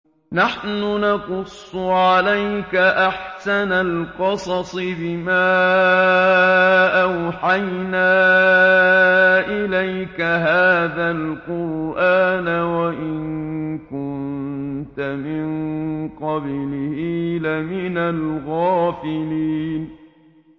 نَحْنُ نَقُصُّ عَلَيْكَ أَحْسَنَ الْقَصَصِ بِمَا أَوْحَيْنَا إِلَيْكَ هَٰذَا الْقُرْآنَ وَإِن كُنتَ مِن قَبْلِهِ لَمِنَ الْغَافِلِينَ